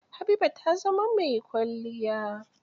Habiba ta zama mai kwalliya.